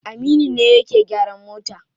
Aminu ne yake gyaran mota.